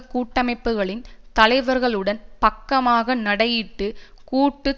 கூட்டமைப்புக்களின் தலைவர்களுடன் பக்கமாக நடையிட்டு கூட்டு